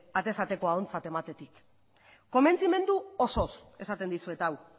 atez atekoa ontzat ematetik konbentzimendu osoz esaten dizuet hau